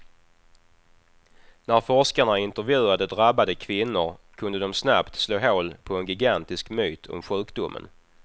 När forskarna intervjuade drabbade kvinnor kunde de snabbt slå hål på en gigantisk myt om sjukdomen.